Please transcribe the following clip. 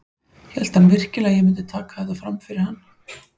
Hélt hann virkilega að ég myndi taka þetta fram yfir hann?